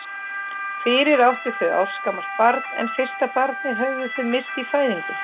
Fyrir áttu þau ársgamalt barn en fyrsta barnið höfðu þau misst í fæðingu.